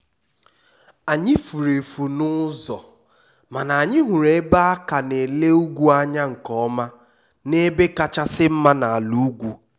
anyị furu efu n`ụzọ mana anyị hụrụ ebe a na-ele ugwu anya nkeọma n`ebe kachasị mma n`ala ugwu